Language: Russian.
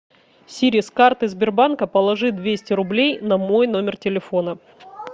сири с карты сбербанка положи двести рублей на мой номер телефона